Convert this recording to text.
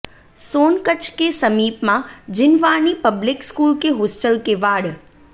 सोनकच्छ के समीप Maa Jinvani public school के होस्टल के वाड